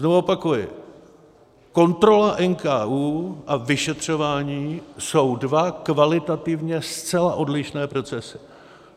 Znovu opakuji, kontrola NKÚ a vyšetřování jsou dva kvalitativně zcela odlišné procesy.